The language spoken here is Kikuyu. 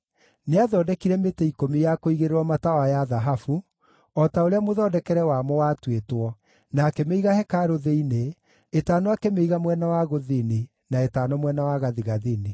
Nĩathondekire mĩtĩ ikũmi ya kũigĩrĩrwo matawa ya thahabu, o ta ũrĩa mũthondekere wamo watuĩtwo, na akĩmĩiga hekarũ thĩinĩ, ĩtano akĩmĩiga mwena wa gũthini na ĩtano mwena wa gathigathini.